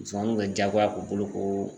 Musomaninw bɛ jagoya k'u bolo ko